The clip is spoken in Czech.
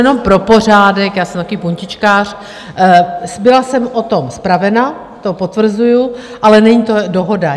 Jenom pro pořádek, já jsem takový puntičkář: byla jsem o tom zpravena, to potvrzuji, ale není to dohoda.